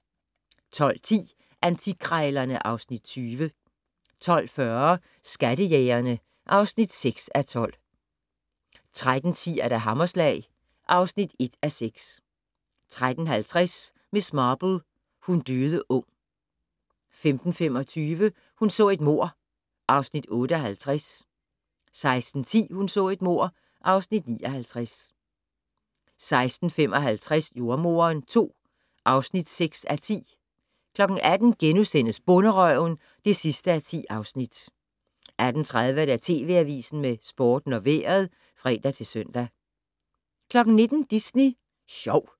12:10: Antikkrejlerne (Afs. 20) 12:40: Skattejægerne (6:12) 13:10: Hammerslag (1:6) 13:50: Miss Marple: Hun døde ung 15:25: Hun så et mord (Afs. 58) 16:10: Hun så et mord (Afs. 59) 16:55: Jordemoderen II (6:10) 18:00: Bonderøven (10:10)* 18:30: TV Avisen med Sporten og Vejret (fre-søn) 19:00: Disney Sjov